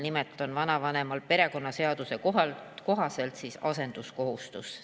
Nimelt on vanavanemal perekonnaseaduse kohaselt asenduskohustus.